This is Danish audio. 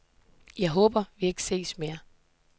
Jeg håber, at vi ikke ses mere.